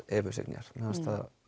Evu Signýjar mér fannst